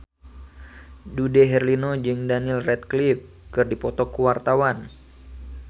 Dude Herlino jeung Daniel Radcliffe keur dipoto ku wartawan